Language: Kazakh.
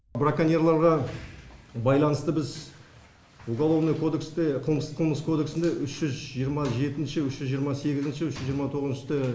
браконьерларға байланысты біз уголовный кодексте қылмыс кодексінде үш жүз жиырма екінші үш жүз жиырма сегізінші үш жүз жиырма тоғызыншы